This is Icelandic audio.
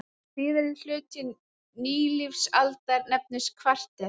Síðari hluti nýlífsaldar nefnist kvarter.